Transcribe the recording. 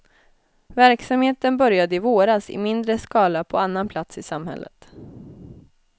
Verksamheten började i våras i mindre skala på annan plats i samhället.